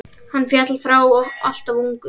Hann féll frá alltof ungur.